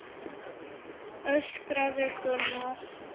öskraði Gunnar.